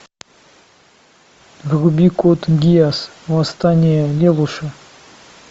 вруби код гиас восстание лелуша